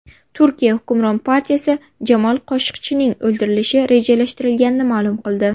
Turkiya hukmron partiyasi Jamol Qoshiqchining o‘ldirilishi rejalashtirilganligini ma’lum qildi.